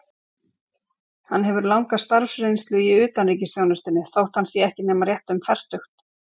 Hann hefur langa starfsreynslu í utanríkisþjónustunni, þótt hann sé ekki nema rétt um fertugt.